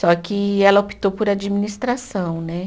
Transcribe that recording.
Só que ela optou por administração, né?